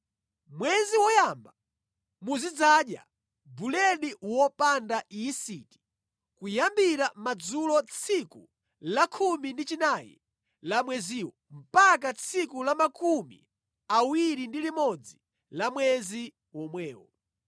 Mwezi woyamba muzidzadya buledi wopanda yisiti kuyambira madzulo tsiku la 14 la mweziwo mpaka tsiku la 21 mwezi womwewo.